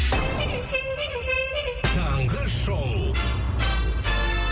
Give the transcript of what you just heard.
таңғы шоу